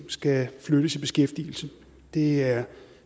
skal flyttes i beskæftigelse det er